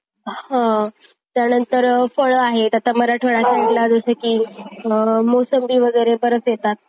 बरोबर तो पण एक point आहे